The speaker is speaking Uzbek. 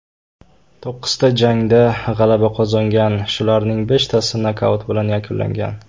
To‘qqizta jangda g‘alaba qozongan, shularning beshtasi nokaut bilan yakunlangan.